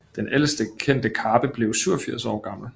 Den ældste kendte karpe blev 47 år gammel